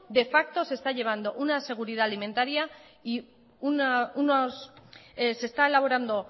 de facto se está llevando una seguridad alimentaria y